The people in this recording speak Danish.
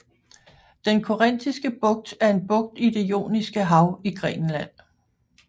Den Korinthiske Bugt er en bugt i det Ioniske Hav i Grækenland